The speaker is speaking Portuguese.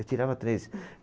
Eu tirava três.